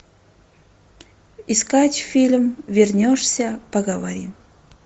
искать фильм вернешься поговорим